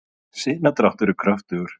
sinadráttur er kröftugur